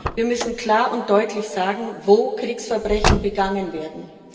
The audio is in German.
Wir müssen klar und deutlich sagen, wo Kriegsverbrechen begangen werden.